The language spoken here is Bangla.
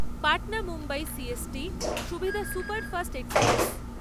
Patna Mumbai C S T সুবিধা সুপারফাস্ট এক্সপ্রেস